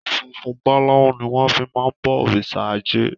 Funfun balau ni wọn fi máa ń bọ òrìṣà ajé.